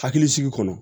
Hakilisigi kɔnɔ